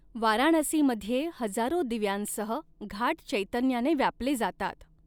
वाराणसीमध्ये हजारो दिव्यांसह घाट चैतन्याने व्यापले जातात.